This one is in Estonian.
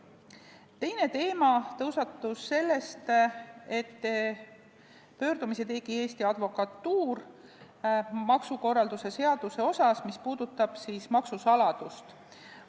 Teine teema tõusetus sellest, et Eesti Advokatuur tegi pöördumise maksukorralduse seaduse selle osa kohta, mis puudutab maksusaladust.